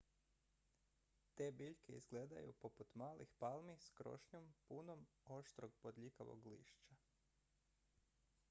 te biljke izgledaju poput malih palmi s krošnjom punom oštrog bodljikavog lišća